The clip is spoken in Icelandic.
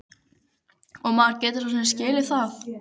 Og maður getur svo sem skilið það.